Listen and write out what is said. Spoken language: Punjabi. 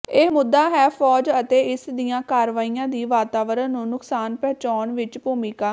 ਇਹ ਮੁੱਦਾ ਹੈ ਫੌਜ ਅਤੇ ਇਸ ਦੀਆਂ ਕਾਰਵਾਈਆਂ ਦੀ ਵਾਤਾਵਰਨ ਨੂੰ ਨੁਕਸਾਨ ਪਹੁੰਚਾਉਣ ਵਿੱਚ ਭੂਮਿਕਾ